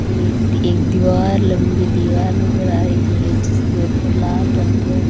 ये एक दीवार लंबी दीवार नजर आ रही है जिसके ऊपर लाल रंग है।